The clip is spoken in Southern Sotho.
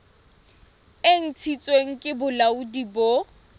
e ntshitsweng ke bolaodi bo